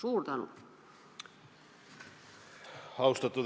Austatud Riigikogu esimees!